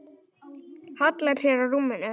Hallar sér á rúmið.